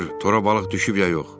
Get bax gör tora balıq düşüb ya yox.